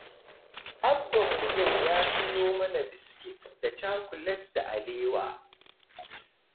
Abbanmu yau ya sayo mana biskit da cakulet da alewa.